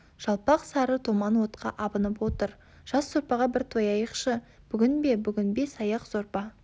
жалпақ сары томан отқа абынып отыр жас сорпаға бір тояықшы бүгін бе бүгін бес аяқ сорпа